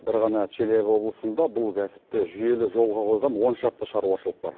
бір ғана челябі облысында бұл кәсіпті жүйелі жолға қойған он шақты шаруашылық бар